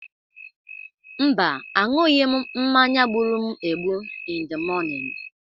Mba, aṅụghị m mmanya gburu m egbu in the morning.